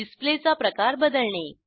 डिसप्लेचा प्रकार बदलणे